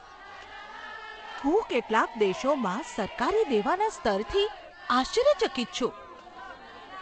હું કેટલાક દેશોમાં સરકારી દેવાના સ્તરથી આશ્ચર્યચકિત છું.